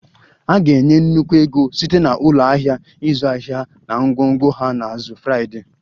A ga-enye nnukwu ego site na ụlọ ahịa ịzụ ahịa na ngwongwo ha na azụ Friday